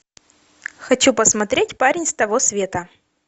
хочу посмотреть парень с того света